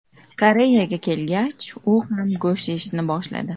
Koreyaga kelgach u ham go‘sht yeyishni boshladi.